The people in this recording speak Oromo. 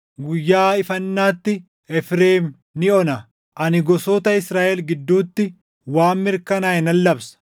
Guyyaa ifannaatti Efreem ni ona. Ani gosoota Israaʼel gidduutti waan mirkanaaʼe nan labsa.